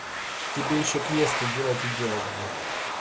тебе ещё квеста делать и делать блять